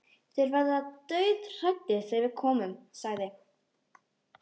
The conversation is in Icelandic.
Þeir verða dauðhræddir þegar við komum, sagði